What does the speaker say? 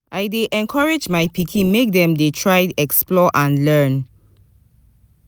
I dey encourage my pikin dem make dem dey explore and learn.